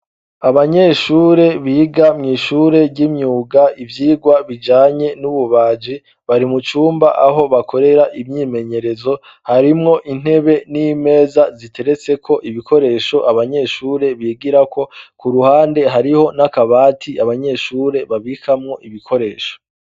Abanyeshure biga mw'ishure ry'imyuga ivyigwa bijanye n'ububaji, bari mucumba aho bakorera imyimenyerezo harimwo intebe n'imeza ziteretse ko ibikoresho abanyeshure bigira ko ku ruhande hariho n'akabati abanyeshure babikamwo ibikoresho.